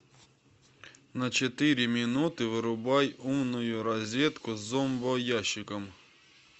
на четыре минуты вырубай умную розетку с зомбоящиком